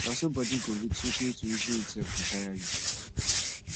na so bodi go weak sotay to even eat sef go taya yu